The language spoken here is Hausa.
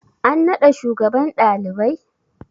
An naɗa shugaban ɗalibai?